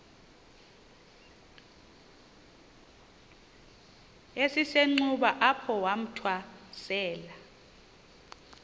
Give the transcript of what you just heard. esisenxuba apho wathwasela